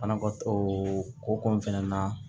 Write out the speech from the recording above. Banakɔ o koko in fɛnɛ na